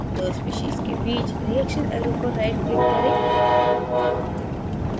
दो species के बीच reaction arrow पर right click करें